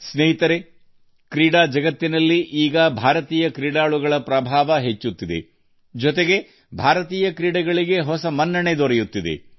ಸ್ನೇಹಿತರೇ ಕ್ರೀಡಾ ಜಗತ್ತಿನಲ್ಲಿ ಈಗ ಭಾರತೀಯ ಆಟಗಾರರ ಪ್ರಾಬಲ್ಯ ಹೆಚ್ಚುತ್ತಿದೆ ಇದೇ ವೇಳೆ ಭಾರತೀಯ ಕ್ರೀಡೆಗಳ ಹೊಸ ಪ್ರತಿಷ್ಟೆಯೂ ಅನಾವರಣಗೊಳ್ಳುತ್ತಿದೆ